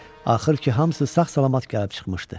Axır ki hamısı sağ-salamat gəlib çıxmışdı.